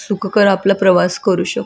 सुखकर आपला प्रवास करू शक--